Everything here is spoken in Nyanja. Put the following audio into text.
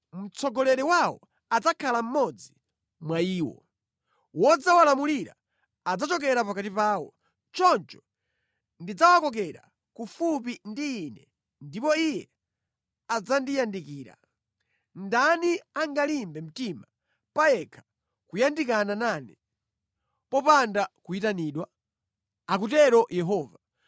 Mtsogoleri wawo adzakhala mmodzi mwa iwo. Wodzawalamulira adzachokera pakati pawo. Choncho ndidzawakokera kufupi ndi Ine ndipo iye adzandiyandikira. Ndani angalimbe mtima payekha kuyandikana nane popanda kuyitanidwa?” akutero Yehova.